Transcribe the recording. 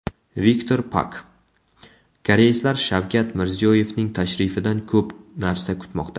Viktor Pak: Koreyslar Shavkat Mirziyoyevning tashrifidan ko‘p narsa kutmoqda.